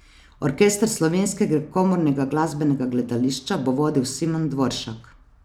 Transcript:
Orkester Slovenskega komornega glasbenega gledališča bo vodil Simon Dvoršak.